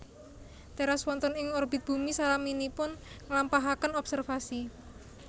teras wonten ing orbit bumi salaminipun nglampahaken observasi